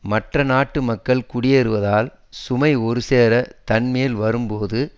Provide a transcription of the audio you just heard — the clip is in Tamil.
மற்ற நாட்டு மக்கள் குடியேறுவதால் சுமை ஒரு சேர தன் மேல் வரும் போது